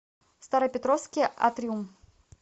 старопетровский атриум